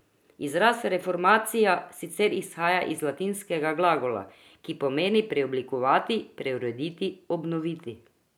Izraz reformacija sicer izhaja iz latinskega glagola, ki pomeni preoblikovati, preurediti, obnoviti.